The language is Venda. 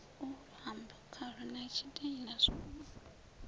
luambo khalo na tshitaila zwo